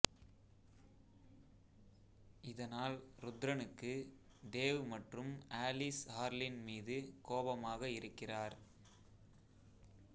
இதனால் ருத்ரனுக்கு தேவ் மற்றும் ஆலிஸ் ஹார்லின் மீது கோபமாக இருக்கிறார்